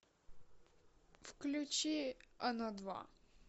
включи оно два